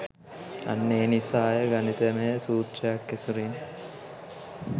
අන්න ඒ නිසාය ගණිතමය සුත්‍රයක් ඇසුරෙන්